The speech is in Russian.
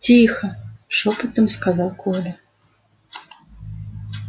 тихо шёпотом сказал коля